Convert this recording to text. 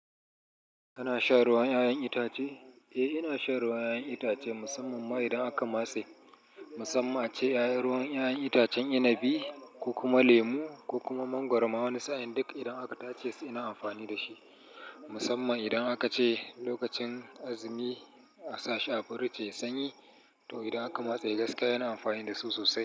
Kana shan ruwan 'ya'yan itace? Eh, ina shan ruwan 'ya'yan itace musamman ma idan aka matse. Musamman ace 'yayan ruwan 'ya'yan itacen inabi ko kuma lemu ko kuma mangwaro ma wani sa'in duk idan aka tace suna amfani da shi. Musamman idan aka ce lokacin azumi a sa shi a pirij yayi sanyi to idan aka matse gaskiya ina amfani da su sosai.